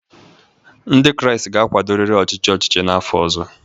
Ndị Kraịst ga-akwadorịrị ọchịchị ọchịchị n’afọ ọzọ